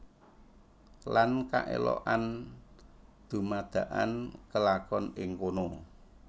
Lan kaelokan dumadakan kelakon ing kono